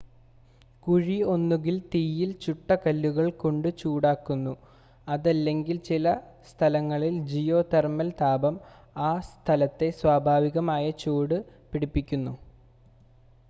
കുഴി ഒന്നുകിൽ തീയിൽ ചുട്ടകല്ലുകൾ കൊണ്ട് ചൂടാക്കുന്നു അതല്ലെങ്കിൽ ചില സ്ഥലങ്ങളിൽ ജിയോ തെർമൽ താപം ആ സ്ഥലത്തെ സ്വാഭാവികമായി ചൂട് പിടിപ്പിക്കുന്നു